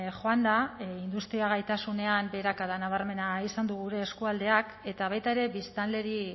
joan da industria gaitasunean beherakada nabarmena izan du gure eskualdeak eta baita ere biztanleri